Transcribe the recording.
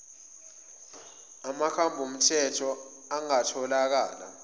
amakhambi omthetho angatholakala